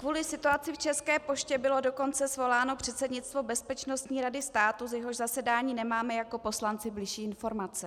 Kvůli situaci v České poště bylo dokonce svoláno předsednictvo Bezpečnostní rady státu, z jehož zasedání nemáme jako poslanci bližší informace.